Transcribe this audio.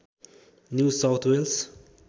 new South Wales